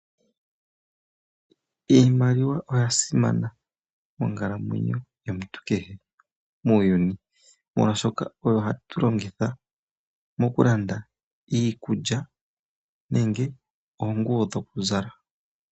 Iimaliwa oya simana monkalamwenyo yomuntu kehe muuyuni molwaashoka oyo hatu longitha mokulanda iikulya nenge oonguwo dhoku zala.